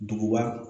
Duguba